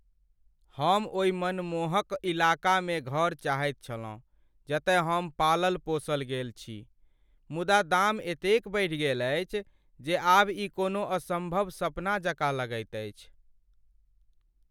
हम ओहि मनमोहक इलाकामे घर चाहैत छलहुँ जतय हम पालल पोसल गेल छी, मुदा दाम एतेक बढ़ि गेल अछि जे आब ई कोनो असम्भव सपना जकाँ लगैत अछि।